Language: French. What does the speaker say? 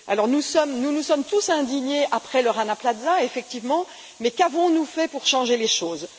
Nous nous sommes tous indignés après le Rana Plaza, effectivement, mais qu'avons nous fait pour changer les choses?